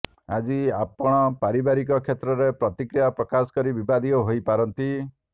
ଆଜି ଆପଣପାରିବାରିକ କ୍ଷେତ୍ରରେ ପ୍ରତିକ୍ରିୟା ପ୍ରକାଶ କରି ବିବାଦୀୟ ହୋଇପାରନ୍ତି